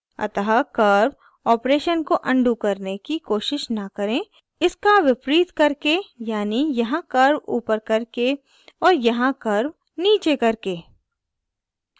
अतः curve operation को undo करने की कोशिश न करें इसका विपरीत करके यानि यहाँ curve ऊपर करके और यहाँ curve नीचे करके